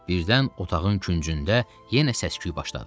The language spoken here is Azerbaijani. Birdən otağın küncündə yenə səs-küy başladı.